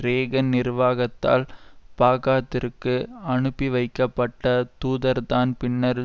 ரேகன் நிர்வாகத்தால் பாகாத்திற்கு அனுப்பி வைக்கப்பட்ட தூதர்தான் பின்னர்